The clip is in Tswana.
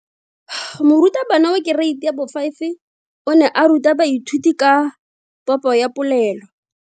Moratabana wa kereiti ya 5 o ne a ruta baithuti ka popo ya polelo.